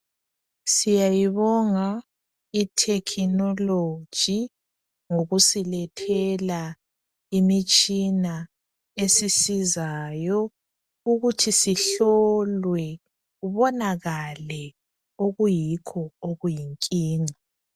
Siyayibonga itekinoloji ,ngokusilethela imitshina esisizayo ukuthi sihlolwe . Kubonakale okuyikho okuyinkinga.